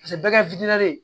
bɛɛ ka